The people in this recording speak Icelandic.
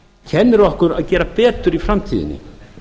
kennir okkur að gera betur í framtíðinni